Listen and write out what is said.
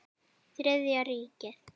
Þriðja ríkið.